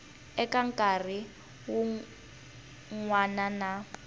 eka nkarhi wun wana na